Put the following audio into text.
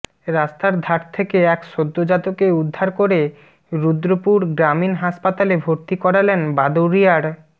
রাস্তার ধার থেকে এক সদ্যোজাতকে উদ্ধার করে রুদ্রপুর গ্রামীণ হাসপাতালে ভর্তি করালেন বাদুড়িয়ার